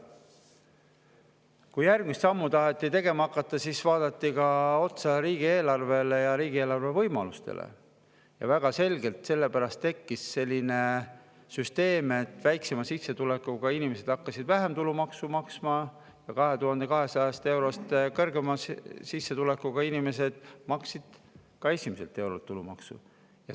Kui järgmist sammu taheti tegema hakata, siis vaadati otsa riigieelarvele ja riigieelarve võimalustele ning väga selgelt tekkis selle pärast selline süsteem, et väiksema sissetulekuga inimesed hakkasid vähem tulumaksu maksma ja 2200 eurost kõrgema sissetulekuga inimesed hakkasid tulumaksu maksma esimeselt eurolt.